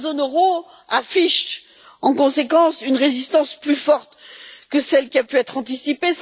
La zone euro affiche en conséquence une résistance plus forte que celle qui a pu être anticipée.